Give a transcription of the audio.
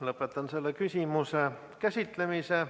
Lõpetan selle küsimuse käsitlemise.